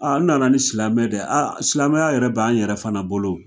n nana ni silamɛ dɛ, silamɛya yɛrɛ b'an yɛrɛ fana bolo